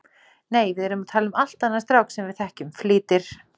Nei, við erum að tala um allt annan strák sem við þekkjum, flýtir